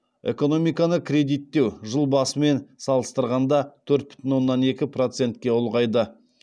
экономиканы кредиттеу жыл басымен салыстырғанда төрт бүтін оннан екі процетке ұлғайды